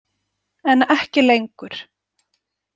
En ekki lengur.